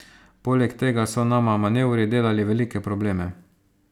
Poleg tega so nama manevri delali velike probleme.